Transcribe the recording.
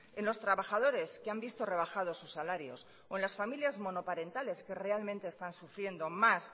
en los trabajadores que han visto rebajados sus salarios o en las familias monoparentales que realmente están sufriendo más